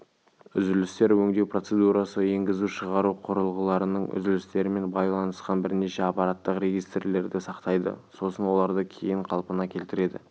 үзілістер өңдеу процедурасы енгізу-шығару құрылғыларының үзілістерімен байланысқан бірнеше аппараттық регистрлерді сақтайды сосын оларды кейін қалпына келтіреді